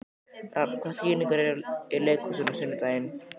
Rafn, hvaða sýningar eru í leikhúsinu á sunnudaginn?